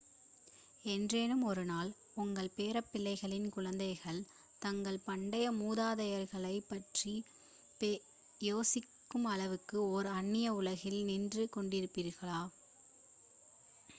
என்றேனும் ஒரு நாள் உங்கள் பேரப்பிள்ளைகளின் குழந்தைகள் தங்கள் பண்டைய மூதாதையர்களைப் பற்றி யோசிக்கும் அளவுக்கு ஒரு அன்னிய உலகில் நின்று கொண்டிருப்பார்களா